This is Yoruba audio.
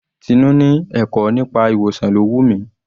Tinú ni ẹ̀kọ́ nípa ìwòsàn ló wù mí.